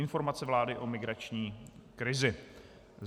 Informace vlády o migrační krizi.